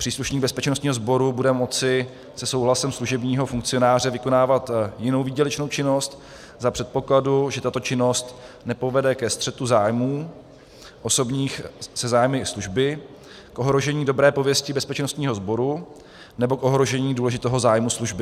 Příslušník bezpečnostního sboru bude moci se souhlasem služebního funkcionáře vykonávat jinou výdělečnou činnost za předpokladu, že tato činnost nepovede ke střetu zájmů osobních se zájmy služby, k ohrožení dobré pověsti bezpečnostního sboru nebo k ohrožení důležitého zájmu služby.